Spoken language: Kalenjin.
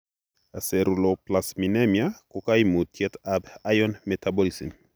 Aceruloplasminemia ko kaimutyet ab iron metabolism